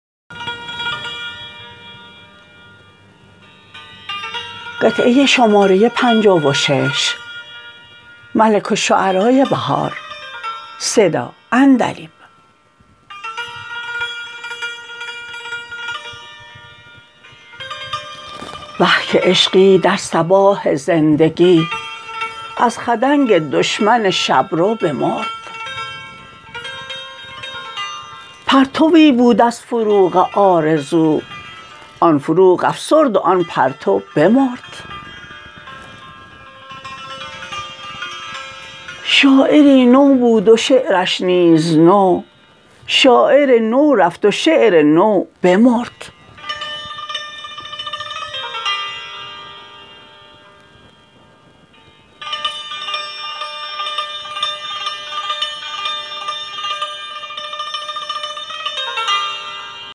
وه که عشقی در صباح زندگی از خدنگ دشمن شبرو بمرد پرتوی بود از فروغ آرزو آن فروغ افسرد و آن پرتو بمرد شاعری نو بود و شعرش نیز نو شاعر نو رفت و شعر نو بمرد